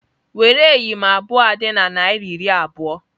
Were eyịm abụọ dị na naira iri abụọ!